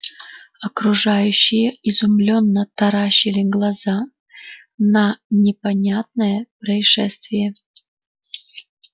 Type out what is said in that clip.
окружающие изумлённо таращили глаза на непонятное происшествие